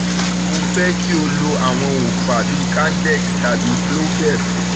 mo fẹ́ kí o lo àwọn òòfà bíi candex tàbí clobelt